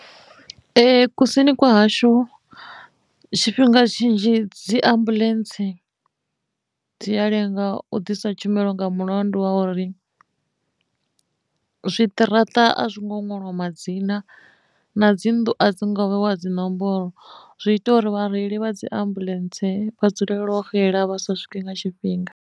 Ee kusini kwa hashu tshifhinga tshinzhi dzi ambuḽentse dzi a lenga u ḓisa tshumelo nga mulandu wa uri zwiṱaraṱa a zwi ngo ṅwaliwa madzina na dzi nnḓu a dzi ngo vheiwa dzinomboro zwi ita uri vhareili vha dzi ambuḽentse vha dzulele xela vha sa swiki nga tshifhinga.